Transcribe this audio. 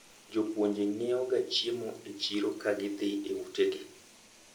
jopuonje nyiewo ga chiemo e chiro ka gidhi e ute gi